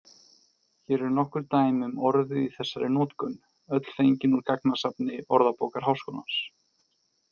Hér eru nokkur dæmi um orðið í þessari notkun, öll fengin úr gagnasafni Orðabókar Háskólans.